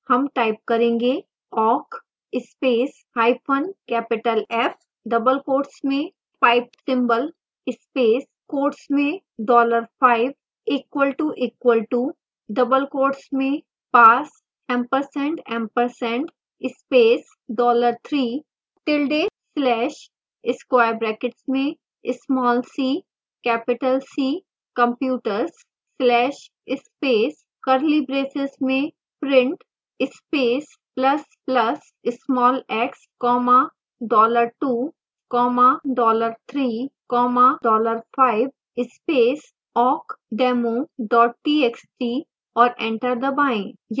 हम type करेंगे